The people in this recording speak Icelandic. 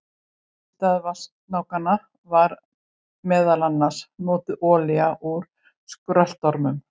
Í stað vatnasnákanna var meðal annars notuð olía úr skröltormum.